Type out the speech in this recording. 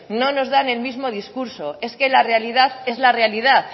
no nos dan el mismo discurso es que la realidad es la realidad